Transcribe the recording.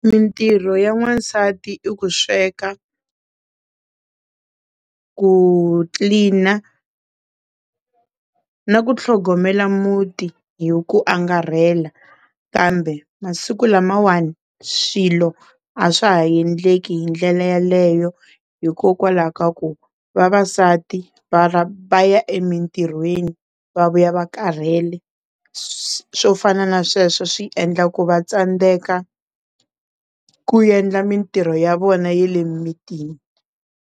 Mintirho ya n'wansati i ku sweka, ku tlilina na ku tlhogomela muti hi ku angarhela kambe masiku lamawani swilo a swa ha endleki hi ndlela yeleyo hikokwalaho ka ku vavasati va ya emitirhweni va vuya va karhele swo fana na sweswo swi endla ku va tsandzeka ku endla mintirho ya vona ya le mimitini.